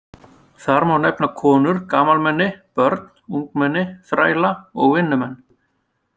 Þar má nefna konur, gamalmenni, börn, ungmenni, þræla og vinnumenn.